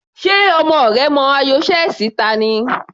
Ṣe ọmọ rẹ mọ ayò chess ta ni?